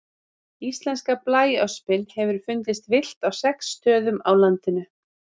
Íslenska blæöspin hefur fundist villt á sex stöðum á landinu.